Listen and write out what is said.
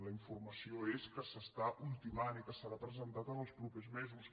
la informació és que s’està ultimant i que serà presentat en els propers mesos